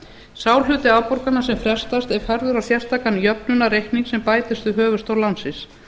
sá hluti afborgana sem frestast er færður á sérstakan jöfnunarreikning sem bætist við höfuðstól lánsins